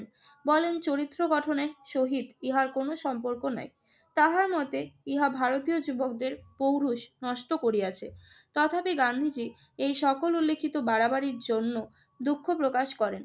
বলেন চরিত্র গঠনে সহিত ইহার কোন সম্পর্ক নাই। তাহার মতে, ইহা ভারতীয় যুবকদের পৌরষ নষ্ট করিয়াছে। তথাপি গান্ধীজি এই সকল উল্লিখিত বাড়াবাড়ির জন্য দুঃখ প্রকাশ করেন